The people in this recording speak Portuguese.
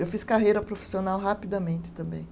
Eu fiz carreira profissional rapidamente também.